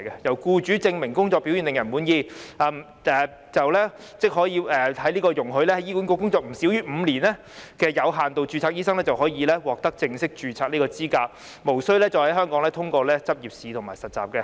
在僱主證明工作表現令人滿意後，即可以容許在醫管局工作不少於5年的有限度註冊醫生，獲得正式註冊的資格，無須在香港通過執業試和實習。